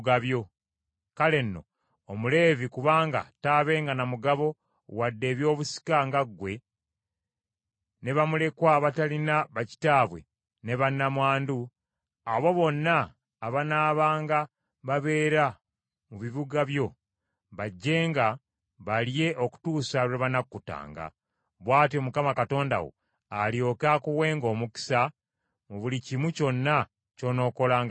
Kale nno, Omuleevi kubanga taabenga na mugabo wadde ebyobusika nga ggwe, ne bamulekwa abatalina bakitaabwe ne nnamwandu; abo bonna abanaabanga babeera mu bibuga byo, bajjenga balye okutuusa lwe banakkutanga; bw’atyo Mukama Katonda wo alyoke akuwenga omukisa mu buli kimu kyonna ky’onookolanga n’emikono gyo.